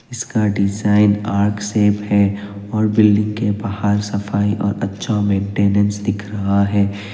इसका design arc shape है और बिल्डिंग के बाहर सफाई और अच्छा मेंटेनेंस दिख रहा है।